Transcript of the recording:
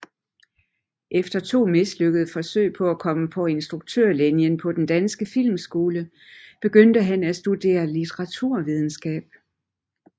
Efter to mislykkede forsøg på at komme på instruktørlinjen på Den Danske Filmskole begyndte han at studerere litteraturvidenskab